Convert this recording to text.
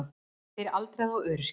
Fyrir aldraða og öryrkja.